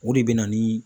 O de bɛ na ni